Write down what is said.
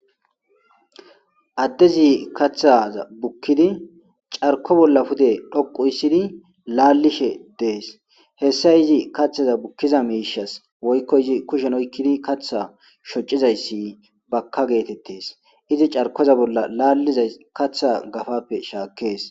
Addezi kathaza bukkidi carko bolla pude dhoqu issidi laallishe dees hessa izi kaththaza bukkiza miishas woykko izi kushen oykkidi katha shoccizayssi bakka geetettes izi carkoza bolla laalliza katha gafappe shaakees.